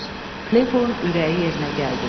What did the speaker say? Klepolun ürəyi yerinə gəldi.